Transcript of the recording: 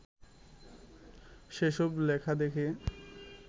সেসব লেখা দেখে